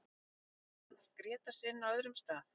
Kemur Arnar Grétars inn á öðrum stað?